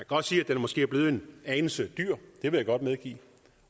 godt sige at den måske er blevet en anelse dyr det vil jeg godt medgive